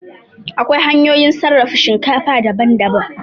Akwai hanyoyin sarrafa shinkafa daban daban